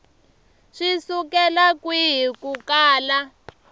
swi sukela kwihi ku kala